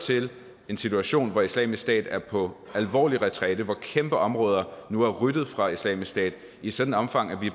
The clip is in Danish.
til en situation hvor islamisk stat er på alvorlig retræte hvor kæmpe områder nu er ryddet for islamisk stat i et sådan omfang at vi